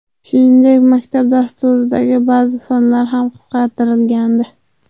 Shuningdek, maktab dasturidagi ba’zi fanlar ham qisqartirilgandi.